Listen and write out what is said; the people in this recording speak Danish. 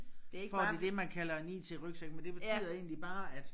Får de det man kalder en IT-rygsæk men det betyder egentlig bare at